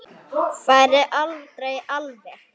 Færi aldrei alveg.